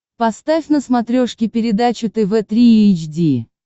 поставь на смотрешке передачу тв три эйч ди